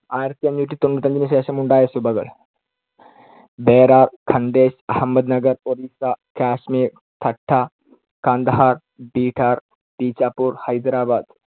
ആയിരത്തിഅഞ്ഞൂറ്റിതൊണ്ണൂറ്റിയഞ്ചിന് ശേഷമുണ്ടായ സുബകൾ. ബേരാർ, ഖണ്ഡേശ്, അഹമ്മദ് നഗർ, ഒറീസ്സ, കാശ്‌മീർ, തട്ട, കാന്ദഹാർ, ബീഹാർ, ബീജാപ്പൂർ, ഹൈദരാബാദ്.